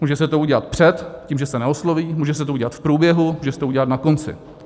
Může se to udělat před tím, že se neosloví, může se to udělat v průběhu, může se to udělat na konci.